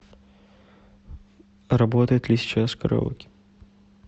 работает ли сейчас караоке